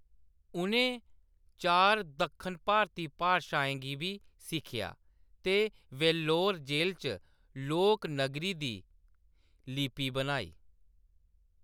उʼनें चार दक्खन भारती भाषाएं गी बी सिक्खेआ ते वेल्लोर जे‌‌ल च लोक नगरी दी लिपि बनाई।